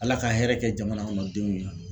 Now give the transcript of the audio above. Ala ka hɛrɛ kɛ jamana kɔnɔ denw ye.